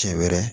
Cɛ wɛrɛ